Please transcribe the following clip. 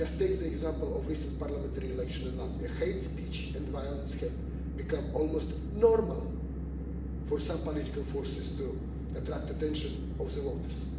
Just take the example of the recent parliamentary election in Latvia hate speech and violence have become almost normal for some political forces to attract the attention of voters.